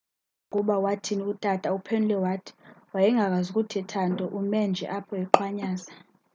xa ubuzwa ukuba wathini utata uphendule wathi wayengakwazi kuthetha nto ume nje apho eqhwanyaza